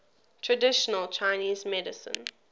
traditional chinese medicine